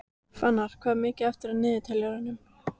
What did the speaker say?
Fannar, hvað er mikið eftir af niðurteljaranum?